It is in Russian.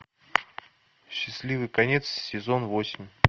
счастливый конец сезон восемь